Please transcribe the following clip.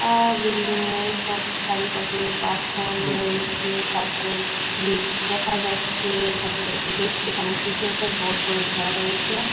আর building এর সব চারিপাশে বাস ছড়ানো রয়েছে তারপরে লিফ্ট দেখা যাচ্ছে তাপরে ইলেক্স এখানে কিছু একটা গোল করে ঘেরা রয়েছে।